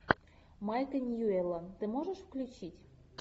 майка ньюэлла ты можешь включить